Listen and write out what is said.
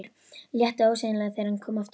Létti ósegjanlega þegar hann kom aftur út.